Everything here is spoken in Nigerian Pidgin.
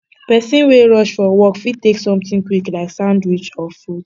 pesin wey rush for work fit take something quick like sandwich or fruit